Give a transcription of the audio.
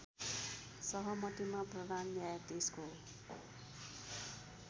सहमतिमा प्रधान न्यायाधीशको